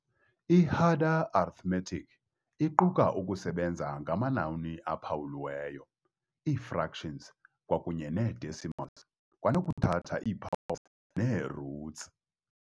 I-Harder arithmetic iquka ukusebenza ngamanani aphawulweyo, ii-fractions, kwakunye nee-decimals, kwanokuthatha ii- powers nee-roots.